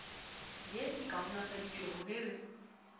ye e kaonafaditšwego ge re